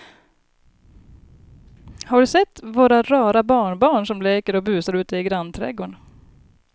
Har du sett våra rara barnbarn som leker och busar ute i grannträdgården!